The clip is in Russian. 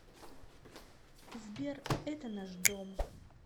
сбер это наш дом